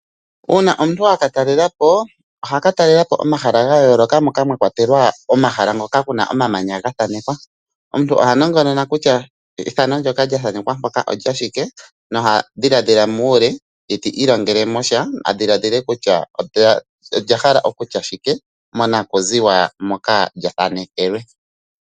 Uuna omuntu aka talelapo, ohaka talelapo omahala ga yooloka moka mwakwatelwa omahala ngoka kuna omamanya gathaanekwa. Omuntu oha nongonona ethano ndyoka lyathanekwa hoka olya shike noha dhiladhila muule kutya olya hala okutya shike monakuziwa moka lyathanekelwe.